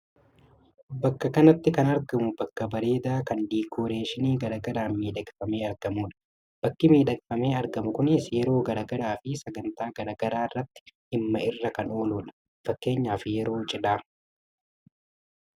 Bakka kanatti kan argamu bakka bareedaa kan diikooreeshinii gara garaan miidhagfamee argamudha. Bakki miidhagfamee argamu kunis yeroo gara garaa fi sagantaa gara garaa irraatti dhimma irra kan ooludha. Fakkeenyaaf yeroo cidhaa.